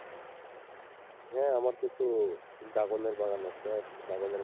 হ্যাঁ আমার কিছু ড্রাগনের বাগান আছে আর ড্রাগনের ভেতর,